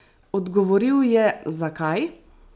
Odgovoril je: "Zakaj?